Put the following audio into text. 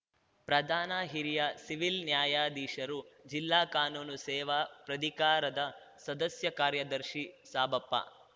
ಪ್ರಧಾನ ಹಿರಿಯ ಸಿವಿಲ್‌ ನ್ಯಾಯಾಧೀಶರು ಜಿಲ್ಲಾ ಕಾನೂನು ಸೇವಾ ಪ್ರಧಿಕಾರದ ಸದಸ್ಯ ಕಾರ್ಯದರ್ಶಿ ಸಾಬಪ್ಪ